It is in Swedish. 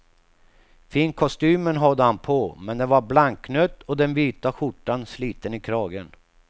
Finkostymen hade han på, men den var blanknött och den vita skjortan sliten i kragen.